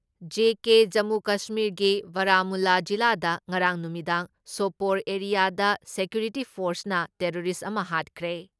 JK Jammu ꯀꯁꯃꯤꯔꯒꯤ ꯕꯔꯥꯃꯨꯜꯂꯥ ꯖꯤꯂꯥꯗ ꯉꯔꯥꯡ ꯅꯨꯃꯤꯗꯥꯡ ꯁꯣꯄꯣꯔ ꯑꯦꯔꯤꯌꯥꯗ ꯁꯦꯀ꯭ꯌꯨꯔꯤꯇꯤ ꯐꯣꯔꯁꯅ ꯇꯦꯔꯣꯔꯤꯁ ꯑꯃ ꯍꯥꯠꯈ꯭ꯔꯦ ꯫